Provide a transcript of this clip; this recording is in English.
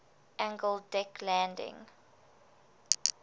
angled deck landing